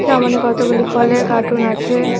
সামোনে কতগুলি ফলের কাটুন আছে।